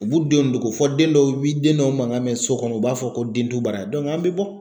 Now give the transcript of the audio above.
U b'u denw don ko fɔ den dɔw bi den dɔw mankan mɛn so kɔnɔ u b'a fɔ ko den tɛ baara yan an bɛ bɔ.